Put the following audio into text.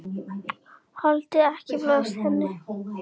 Þoldi ekki blaðrið í henni.